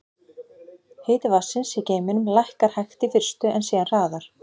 Hiti vatnsins í geyminum lækkar hægt í fyrstu, en síðan hraðar.